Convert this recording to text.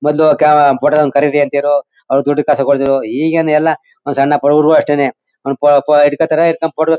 ಮೊದ್ಲು ಕ ಫೋಟೋ ದಾವನನ್ನು ಕರೀರಿ ಅಂತಿದ್ರು ಆಗ ದುಡ್ಡು ಕಾಸು ಕೊಡ್ತಿದ್ರು. ಈಗೇನು ಎಲ್ಲ ಒಂದು ಸಣ್ಣ ಬದುವರುರಿಗೂ ಅಷ್ಟೇನೆ ಪ ಪ ಹಿಡ್ಕೋತಾರೆ ಹಿಡ್ಕೊಂಡು ಫೋಟೋ --